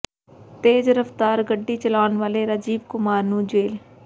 ਤੇਜ਼ ਰਫ਼ਤਾਰ ਗੱਡੀ ਚਲਾਉਣ ਵਾਲੇ ਰਾਜੀਵ ਕੁਮਾਰ ਨੂੰ ਜੇਲ੍ਹ